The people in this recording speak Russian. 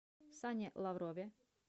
сане лаврове